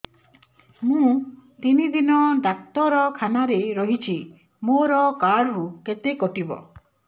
ମୁଁ ତିନି ଦିନ ଡାକ୍ତର ଖାନାରେ ରହିଛି ମୋର କାର୍ଡ ରୁ କେତେ କଟିବ